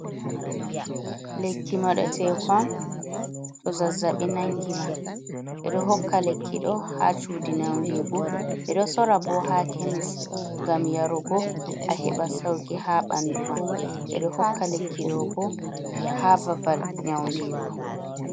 Lekki moɗe tekon to zazzabi nangi ma ɓeɗo hokka lekki dow ha chudi nyau ndigu, ɓeɗo sora bo ha kemis ngam yarugo a heɓa sauki ha banduma nɗoo hokka lekki ɗobo ha babal nyau ndigu.